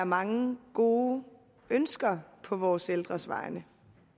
mange gode ønsker tror på vores ældres vegne